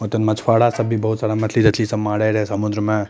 ओते मछुआरा सब भी बहुत मछली तछलि सब मारे रहे समुद्र में।